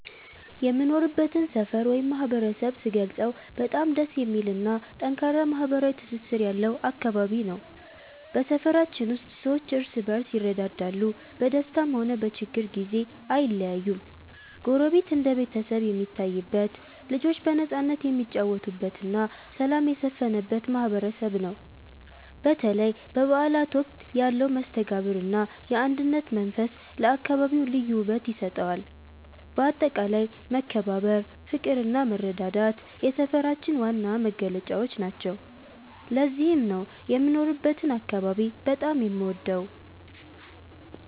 የምኖርበትን ሰፈር ወይም ማህበረሰብ ስገልጸው በጣም ደስ የሚልና ጠንካራ ማህበራዊ ትስስር ያለው አካባቢ ነው። በሰፈራችን ውስጥ ሰዎች እርስ በርስ ይረዳዳሉ፤ በደስታም ሆነ በችግር ጊዜ አይለያዩም። ጎረቤት እንደ ቤተሰብ የሚታይበት፣ ልጆች በነፃነት የሚጫወቱበትና ሰላም የሰፈነበት ማህበረሰብ ነው። በተለይ በበዓላት ወቅት ያለው መስተጋብርና የአንድነት መንፈስ ለአካባቢው ልዩ ውበት ይሰጠዋል። በአጠቃላይ መከባበር፣ ፍቅርና መረዳዳት የሰፈራችን ዋና መገለጫዎች ናቸው። ለዚህም ነው የምኖርበትን አካባቢ በጣም የምወደው።